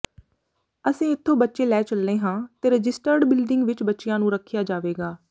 ਅਸੀਂ ਇਥੋ ਬੱਚੇ ਲੈ ਚੱਲੇ ਹਾਂ ਤੇ ਰਜਿਸਟਰਡ ਬਿਲਡਿੰਗ ਵਿਚ ਬੱਚਿਆਂ ਨੂੰ ਰੱਖਿਆ ਜਾਵੇਗਾ